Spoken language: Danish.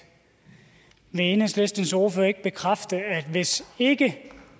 vil enhedslistens ordfører ikke bekræfte at hvis ikke